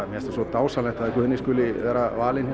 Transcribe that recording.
mér finnst svo dásamlegt að Guðni skuli vera valinn